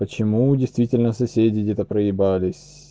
почему действительно соседи где-то проебались